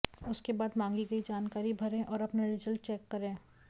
उसके बाद मांगी गई जानकारी भरें और अपना रिजल्ट चेक करें